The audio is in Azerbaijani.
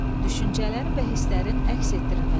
Düşüncələrin və hisslərin əks etdirilməsi.